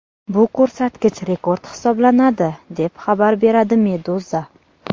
Bu ko‘rsatkich rekord hisoblanadi, deb xabar beradi Meduza.